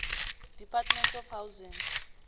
department of housing